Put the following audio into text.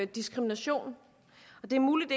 diskrimination det er muligt